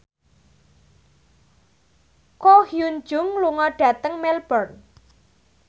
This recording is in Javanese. Ko Hyun Jung lunga dhateng Melbourne